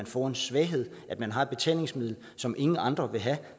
får en svaghed at man har et betalingsmiddel som ingen andre vil have